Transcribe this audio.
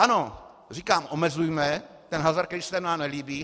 Ano, říkám, omezujme ten hazard, který se nám nelíbí.